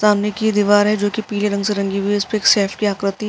सामने की दीवार है जो पीले रंग से रंगी हुई है। उसपे एक सैफ की आकृति --